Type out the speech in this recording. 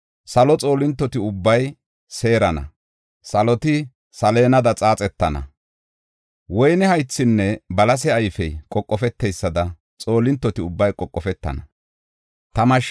Salo xoolintoti ubbay seerana; saloti saleenada xaaxetana. Woyne haythinne balase ayfey qoqofeteysada xoolintoti ubbay qoqofetana. Xaatha Maxaafa